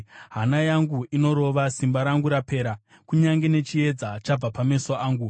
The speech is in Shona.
Hana yangu inorova, simba rangu rapera; kunyange nechiedza chabva pameso angu.